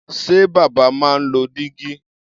Ṣé bàbá máa ń lo dígí?